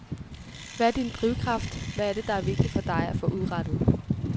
Hvad er din drivkraft, hvad er det vigtigt for dig at få udrettet?